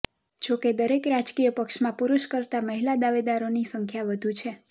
જો કે દરેક રાજકિય પક્ષમાં પુરૂષ કરતા મહિલા દાવેદારોની સંખ્યા વધુ છે